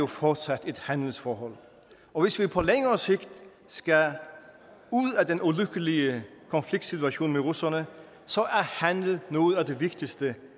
fortsat et handelsforhold og hvis vi på længere sigt skal ud af den ulykkelige konfliktsituation med russerne er handel noget af det vigtigste